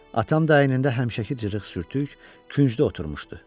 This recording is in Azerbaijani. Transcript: Atam da əynində həmişəki cırıq sürtük küncdə oturmuşdu.